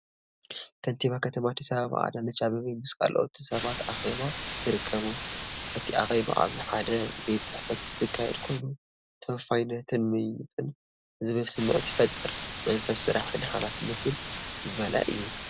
ከንቲባ ከተማ ኣዲስ ኣበባ ኣዳነች ኣበበ ምስ ካልኦት ሰባት ኣብ ኣኼባ ይርከቡ። እቲ ኣኼባ ኣብ ሓደ ቤት ጽሕፈት ዝካየድ ኮይኑ፡ **“ተወፋይነትን ምይይጥን” ዝብል ስምዒት ይፈጥር።** “መንፈስ ስራሕን ሓላፍነትን” ዝመልአ እዩ።